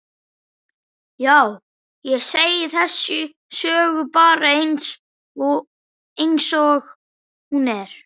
Já, ég segi þessa sögu bara einsog hún er.